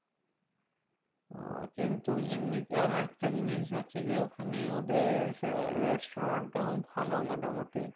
তো কিন্তু এমনি আর একটা জিনিস হচ্ছে যে ওখানে ওদের restaurant টাও ভালো মোটামুটি।